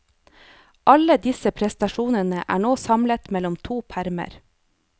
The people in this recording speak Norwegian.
Alle disse prestasjonene er nå samlet mellom to permer.